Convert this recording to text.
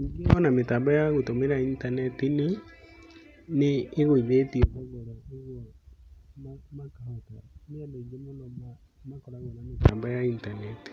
Ningĩ ona mĩtambo ya gũtũmira intaneti nĩ ĩgũithĩtio thogora koguo makahota, nĩ andũ aingĩ mũno makoragwo na mĩtambo ya intaneti.